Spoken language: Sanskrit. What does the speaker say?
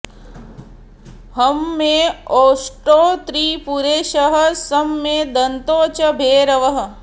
हं मे ओष्टौ त्रिपुरेशः सं मे दन्तौ च भैरवः